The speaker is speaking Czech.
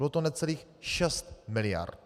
Bylo to necelých 6 miliard.